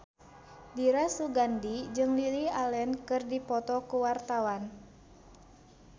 Dira Sugandi jeung Lily Allen keur dipoto ku wartawan